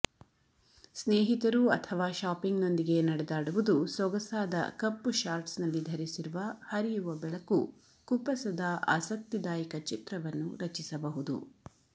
ಸ್ನೇಹಿತರು ಅಥವಾ ಶಾಪಿಂಗ್ನೊಂದಿಗೆ ನಡೆದಾಡುವುದು ಸೊಗಸಾದ ಕಪ್ಪು ಶಾರ್ಟ್ಸ್ನಲ್ಲಿ ಧರಿಸಿರುವ ಹರಿಯುವ ಬೆಳಕು ಕುಪ್ಪಸದ ಆಸಕ್ತಿದಾಯಕ ಚಿತ್ರವನ್ನು ರಚಿಸಬಹುದು